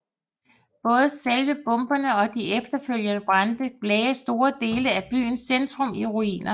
Både selve bomberne og de efterfølgende brande lagde store dele af byens centrum i ruiner